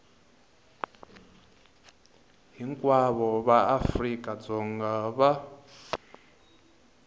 hinkwavo va afrika dzonga va